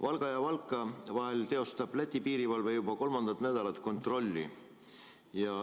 Valga ja Valka vahel teostab Läti piirivalve juba kolmandat nädalat kontrolli.